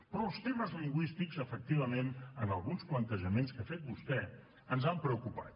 però els temes lingüístics efectivament en alguns plantejaments que ha fet vostè ens han preocupat